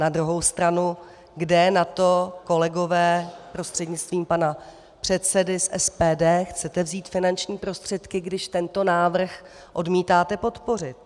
Na druhou stranu - kde na to, kolegové, prostřednictvím pana předsedy z SPD, chcete vzít finanční prostředky, když tento návrh odmítáte podpořit?